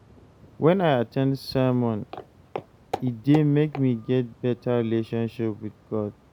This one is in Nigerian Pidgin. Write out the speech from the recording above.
When I at ten d sermon, e dey make me get better relationship with God.